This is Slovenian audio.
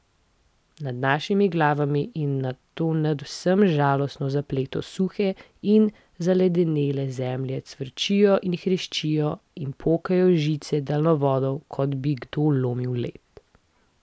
Nad našimi glavami in nad to nadvse žalostno zaplato suhe in zaledenele zemlje cvrčijo in hreščijo in pokajo žice daljnovoda, kot bi kdo lomil led.